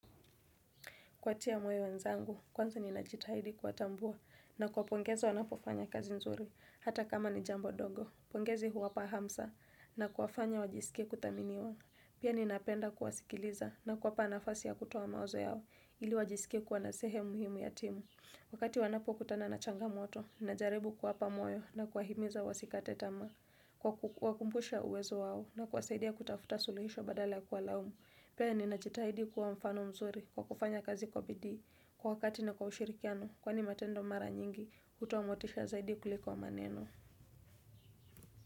Kuwatia moyo wenzangu, kwanza ninajitahidi kuwatambua na kuwapongeza wanapofanya kazi nzuri hata kama ni jambo dogo. Pongezi huwapa hamsa na kuwafanya wajisikie kudhaminiwa. Pia ninapenda kuwasikiliza na kuwapa nafasi ya kutoa mawazo yao ili wajisikie kuwa na sehemu muhimu ya timu. Wakati wanapokutana na changamoto, najaribu kuwapa moyo na kuwahimiza wasikate tamaa. Kuwaku kuwakumbusha uwezo wao na kuwasaidia kutafuta suluhisho badala kuwalaumu. Pea ninajitahidi kuwa mfano mzuri kwa kufanya kazi kwa bidii kwa wakati na kwa ushirikiano kwani matendo mara nyingi hutoa motisha zaidi kuliko wa maneno.